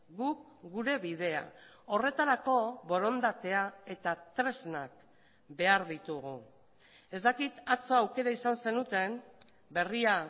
guk gure bidea horretarako borondatea eta tresnak behar ditugu ez dakit atzo aukera izan zenuten berria